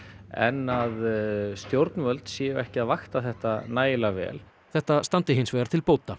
en að stjórnvöld séu ekki að vakta þetta nægilega vel þetta standi hins vegar til bóta